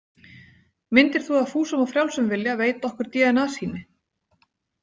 Myndir þú af fúsum og frjálsum vilja veita okkur dna- sýni?